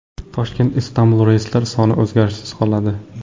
Toshkent – Istanbul reyslari soni o‘zgarishsiz qoladi.